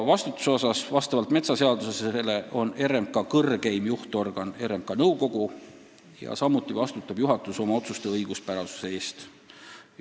Vastutusest nii palju, et vastavalt metsaseadusele on RMK kõrgeim juhtorgan RMK nõukogu, samuti vastutab juhatus oma otsuste õiguspärasuse eest.